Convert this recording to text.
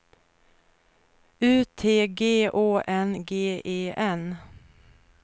U T G Å N G E N